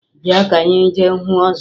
Bịa ka anyị jee hụ ọzọ!